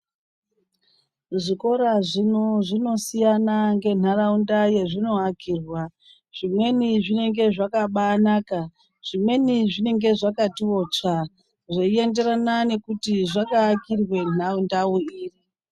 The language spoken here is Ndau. Zvikora zvino zvinosiyana ngenharaunda yazvinoakirwa. Zvimweni zvinenge zvakabaanaka. Zvimweni zvinenge zvakabati tsvee. Zvienderana nekuti zvakaakirwa nharau ndau iri.